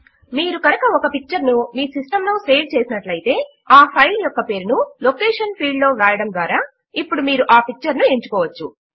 మీరు కనుక ఒక పిక్చర్ ను మీ సిస్టం లో సేవ్ చేసినట్లు అయితే ఆ ఫైల్ యొక్క పేరును లొకేషన్ ఫీల్డ్ లో వ్రాయడము ద్వారా ఇప్పుడు మీరు ఆ పిక్చర్ ను ఎంచుకోవచ్చు